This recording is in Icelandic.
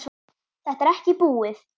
Þetta er ekki búið.